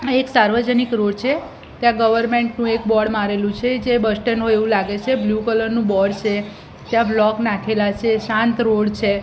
આ એક સાર્વજનિક રોડ છે ત્યાં ગવર્મેન્ટ નુ એક બોર્ડ મારેલું છે જે બસ સ્ટેન્ડ હોય એવું લાગે છે બ્લુ કલર નું બોર્ડ છે ત્યાં બ્લોક નાખેલા છે શાંત રોડ છે.